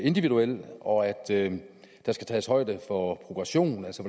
individuel og at der skal tages højde for progressionen altså